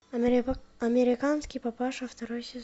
американский папаша второй сезон